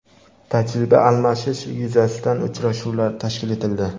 tajriba almashish yuzasidan uchrashuvlar tashkil etildi.